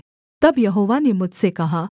तब यहोवा ने मुझसे कहा